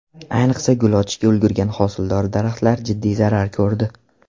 Ayniqsa gul ochishga ulgurgan hosildor daraxtlar jiddiy zarar ko‘rdi.